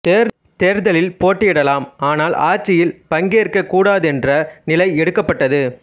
தேர்தலில் போட்டியிடலாம் ஆனால் ஆட்சியில் பங்கேற்கக் கூடாதென்ற நிலை எடுக்கப்பட்டது